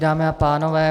Dámy a pánové.